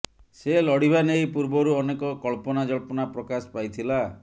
ସେ ଲଢିବା ନେଇ ପୂର୍ବରୁ ଅନେକ କଳ୍ପନା ଜଳ୍ପନା ପ୍ରକାଶ ପାଇଥିଲା